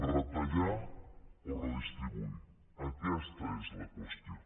retallar o redistribuir aquesta és la qüestió